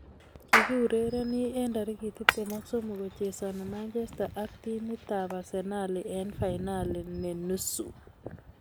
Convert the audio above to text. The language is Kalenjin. Kiurereni eng tarik tiptem ak somok kochesani manchesta ak timit ab arsenali eng fainali ne nusu